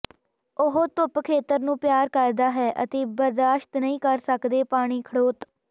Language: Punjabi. ਉਹ ਧੁੱਪ ਖੇਤਰ ਨੂੰ ਪਿਆਰ ਕਰਦਾ ਹੈ ਅਤੇ ਬਰਦਾਸ਼ਤ ਨਹੀ ਕਰ ਸਕਦੇ ਪਾਣੀ ਖੜੋਤ